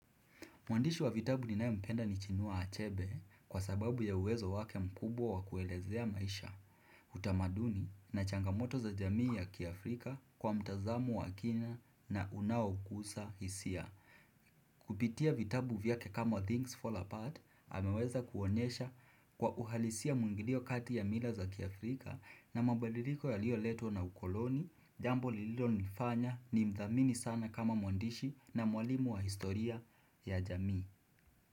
Mwandishi wa vitabu ni nae mpenda ni chinua achebe kwa sababu ya uwezo wake mkubwa wa kuelezea maisha. Utamaduni na changamoto za jamii ya Kiafrika kwa mtazamo wa kina na unaokusa hisia. Kupitia vitabu vyake kama Things Fall Apart, ameweza kuonyesha kwa uhalisia mwiya ni ngilio kati ya mila za Kiafrika na mabadiliko yalioletwa na ukoloni, jambo lililo nifanya ni mdhamini sana kama mwandishi na mwalimu wa historia ya jamii.